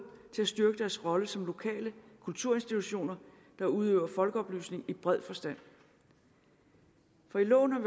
til at styrke deres rolle som lokale kulturinstitutioner der udøver folkeoplysning i bred forstand for i loven har